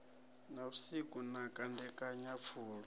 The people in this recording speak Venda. na vhusiku na kandekanya pfulo